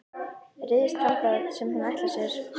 Ryðst þangað sem hún ætlar sér.